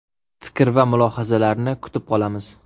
Fikr va mulohazalarni kutib qolamiz.